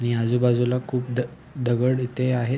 आणि आजूबाजूला खूप द दगड इथे आहेत.